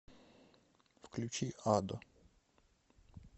включи адо